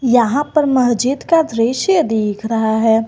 यहां पर मस्जिद का दृश्य देख रहा है।